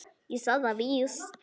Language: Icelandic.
Ég sagði það víst.